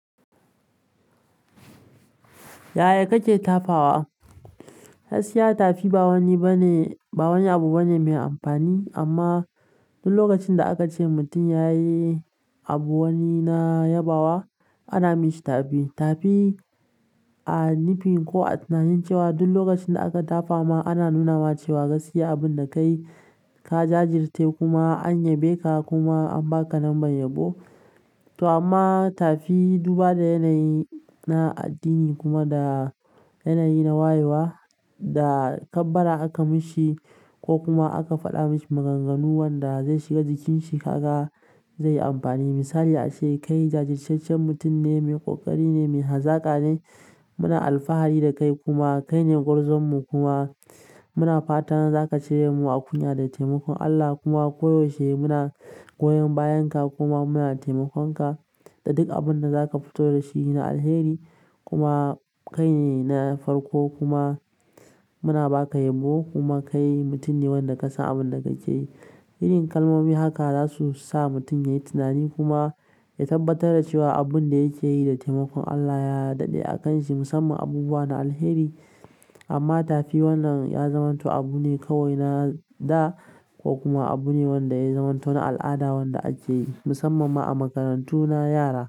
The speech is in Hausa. Yaya kake tafawa? Gaskiya, tafi ba wani abu bane mai amfani. Amma duk lokacin da aka ce mutum ya yi abu wani na yabawa, ana mishi tafi. Tafi a nufin ko a tunanin cewa duk lokacin da aka tafama, ana nuna ma cewa gaskiya, abin da ka yi ka jajirce kuma an yabeka kuma an baka lambar yabo. To amma tafi, duba da yanayi na addini kuma da yanayi na wayewa da kabbara aka mishi ko kuma aka faɗa mishi maganganu wanda zai shiga jikinshi, kaga zai yi amfani. Misali ace, "Kai jajirtaccen mutum ne, mai ƙoƙari ne, mai hazaƙa ne. Muna alfahari da kai kuma kai ne gwarzonmu kuma muna fata za ka cire mu a kunya da taimakon Allah kuma ko yaushe muna goyon bayan ka kuma muna taimakon ka da duk abin da za ka fito da shi na alheri kuma kai ne na farko kuma muna baka yabo, kuma kai mutum ne wanda kasan abun da kake yi. Irin kalmomi haka za su sa mutum ya yi tunani kuma ya tabbatar da cewa abin da yake yi da taimakon Allah ya daɗe a kan shi, musamman abubuwa na alheri. Amma tafi wannan ya zamanto abu ne kawai na da ko kuma abu ne wanda ya zamanto na al'ada wanda ake yi musamman ma a makarantu na yara.